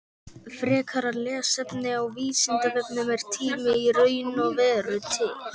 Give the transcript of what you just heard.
Frekara lesefni á Vísindavefnum Er tími í raun og veru til?